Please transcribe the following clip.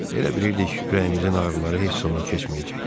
Elə bilirdik ürəyimizin ağrıları heç zaman keçməyəcək.